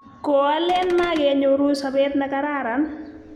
Koalen magenyoru sobet ne kararan.